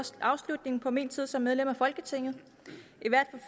afslutningen på min tid som medlem af folketinget